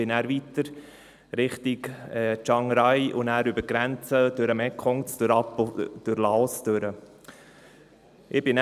Dann reiste ich weiter Richtung Chiang Rai, über die Grenze den Mekong hinunter und durch Laos.